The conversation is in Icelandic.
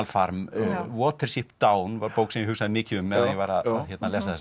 farm Watership Down var bók sem ég hugsaði mikið um meðan ég var að lesa þessa